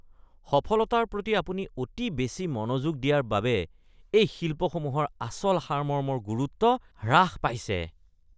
সফলতাৰ প্ৰতি আপুনি অতি বেছি মনোযোগ দিয়াৰ বাবে এই শিল্প সমূহৰ আচল সাৰমৰ্মৰ গুৰুত্ব হ্ৰাস পাইছে।